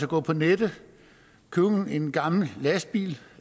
gå på nettet købe en gammel lastbil